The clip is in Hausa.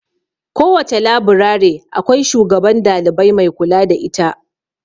Kowace laburare akwai shugaban dalibai mai kula da ita.